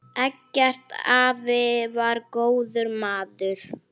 Eggert afi var góður maður.